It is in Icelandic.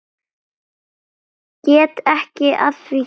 Get ekki að því gert.